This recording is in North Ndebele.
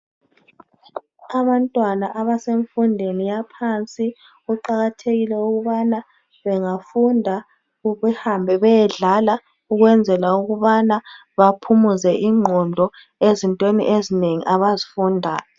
Abantwana abesemfundweni yaphansi kuqakathekile ukubana bengafunda behambe beyedlala ukunzela ukubana baphumuze igqondo ezintweni ezinengi abazifundayo.